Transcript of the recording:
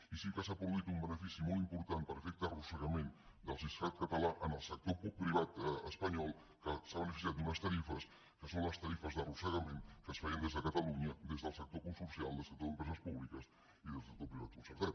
i sí que s’ha produït un benefici molt important per efecte arrossegament del siscat català en el sector privat espanyol que s’ha beneficiat d’unes tarifes que són les tarifes d’arrossegament que es feien des de catalunya des del sector consorcial del sector d’empreses públiques i del sector privat concertat